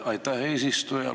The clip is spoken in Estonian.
Aitäh, eesistuja!